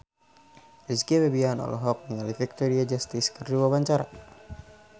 Rizky Febian olohok ningali Victoria Justice keur diwawancara